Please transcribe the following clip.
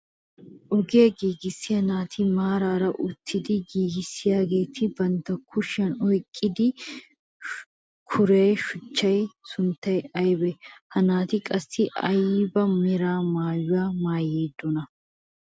Ogiyaa giigissiyaa naati maarara uttidi giigisiyaageti bantta kushiyaan oyqqidi kuuriyoo shuchchaa sunttay aybee? Ha naati qassi ayba mera maayuwaa maayidonaa?